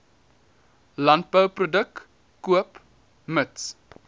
landbouproduk koop mits